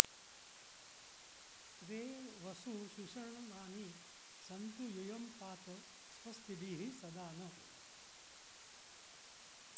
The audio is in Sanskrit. त्वे वसु॑ सुषण॒नानि॑ सन्तु यू॒यं पा॑त स्व॒स्तिभिः॒ सदा॑ नः